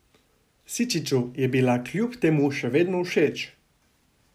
Sičiču je bila kljub temu še vedno všeč.